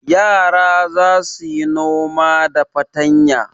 Yara za su yi noma da fatanya.